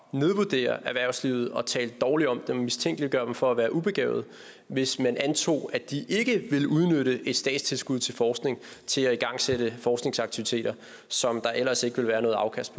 nedvurdere erhvervslivet og at tale dårligt om dem og at mistænke dem for at være ubegavede hvis man antog at de ikke ville udnytte et statstilskud til forskning til at igangsætte forskningsaktiviteter som der ellers ikke vil være noget afkast